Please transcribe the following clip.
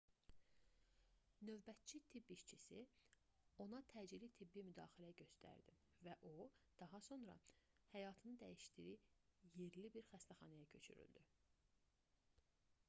növbətçi tibb işçisi ona təcili tibbi müdaxilə göstərdi və o daha sonra həyatını dəyişdiyi yerli bir xəstəxanaya köçürüldü